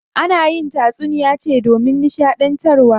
Ana yin tatsuniya ce domin nishaɗantarwa.